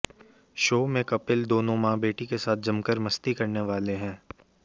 show में कपिल दोनों मां बेटी के साथ जमकर मस्ती करने वाले हैं